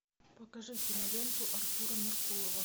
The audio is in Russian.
покажи киноленту артура меркулова